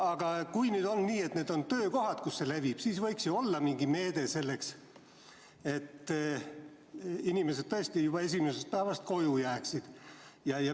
Aga kui on nii, et töökohad on need kohad, kus see levib, siis võiks ju olla mingi meede selleks, et inimesed tõesti juba esimesest päevast koju jääksid.